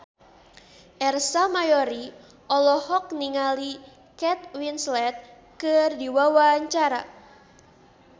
Ersa Mayori olohok ningali Kate Winslet keur diwawancara